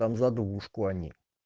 там за двушку они